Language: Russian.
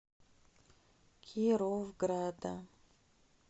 кировграда